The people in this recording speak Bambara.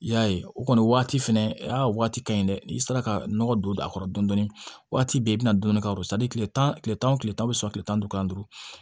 I y'a ye o kɔni waati fɛnɛ a waati ka ɲi dɛ n'i sera ka nɔgɔ don a kɔrɔ dɔɔnin dɔɔnin waati bɛɛ i bɛ na dɔɔnin ka don tile tan tile tan ni tile tan o bɛ sɔrɔ kile tan ni duuru tan ni duuru